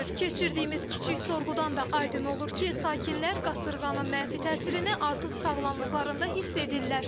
Keçirdiyimiz kiçik sorğudan da aydın olur ki, sakinlər qasırğanın mənfi təsirini artıq sağlamlıqlarında hiss edirlər.